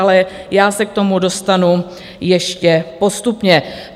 Ale já se k tomu dostanu ještě postupně.